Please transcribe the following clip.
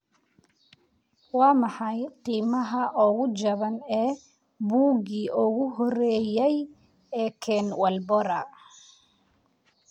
Waa maxay qiimaha ugu jaban ee buuggii ugu horreeyay ee Ken Walbora?